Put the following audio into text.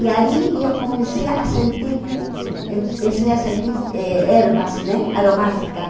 E aí e eu comecei a sentir e esse essa diz e ervas né aromáticas.